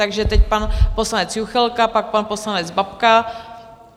Takže teď pan poslanec Juchelka, pak pan poslanec Babka.